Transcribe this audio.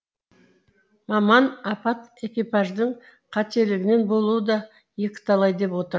маман апат экипаждың қателігінен болуы да екіталай деп отыр